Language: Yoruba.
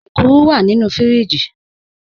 Ẹ̀kúrù wà nínu fíríjì.